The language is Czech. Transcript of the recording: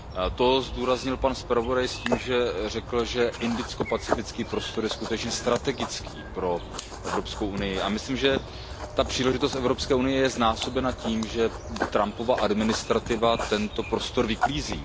To zdůraznil pan zpravodaj s tím, že řekl, že indicko pacifický prostor je skutečně strategický pro EU, a myslím, že ta příležitost EU je znásobena tím, že Trumpova administrativa tento prostor vyklízí.